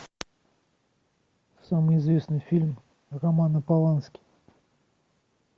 самый известный фильм романа полански